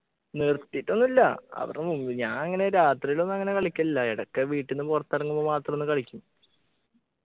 നിർത്തിട്ടൊന്നും ഇല്ല അവരുടെ മുമ്പിൽ ഞാൻ ഇങ്ങനെ രാത്രിലൊന്നും അങ്ങനെ കളിക്കലില്ല ഇടക്ക് വീട്ടീന്ന് പുറത്തിറങ്ങുമ്പോ മാത്രൊന്നു കളിക്കും